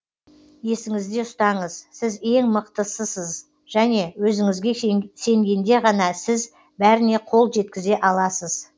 есіңізде ұстаңыз сіз ең мықтысысыз және өзіңізге сенгенде ғана сіз бәріне қол жеткізе аласыз